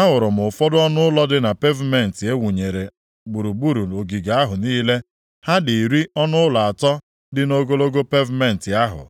ahụrụ m ụfọdụ ọnụụlọ dị na pevumentị e wunyere gburugburu ogige ahụ niile. Ha dị iri ọnụụlọ atọ dị nʼogologo pevumentị ahụ.